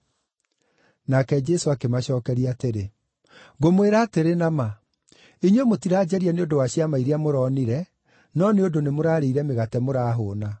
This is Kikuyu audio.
Nake Jesũ akĩmacookeria atĩrĩ, “Ngũmwĩra atĩrĩ na ma, inyuĩ mũtiranjaria nĩ ũndũ wa ciama iria mũronire, no nĩ ũndũ nĩmũrarĩire mĩgate mũrahũũna.